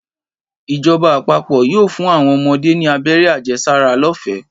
Ìjoba àpapò yóò fún àwon omodé ní abéré àjesára lófèé